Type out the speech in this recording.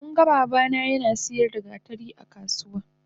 Munga babana nasiyar da gatari akasuwa